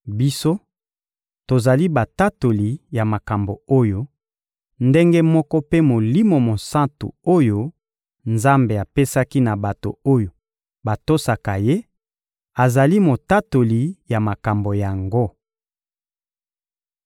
Biso, tozali batatoli ya makambo oyo; ndenge moko mpe Molimo Mosantu oyo Nzambe apesaki na bato oyo batosaka Ye azali motatoli ya makambo yango.